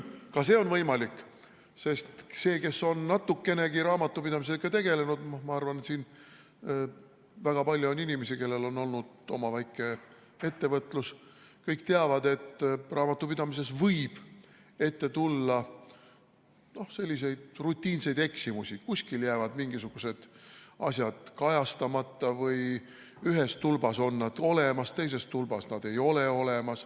Ka see on võimalik, sest need, kes on natukenegi raamatupidamisega tegelenud – ma arvan, et siin on väga palju inimesi, kellel on olnud oma väike ettevõte –, teavad, et raamatupidamises võib ette tulla rutiinseid eksimusi, kuskil jäävad mingisugused asjad kajastamata või ühes tulbas on need olemas, aga teises tulbas ei ole.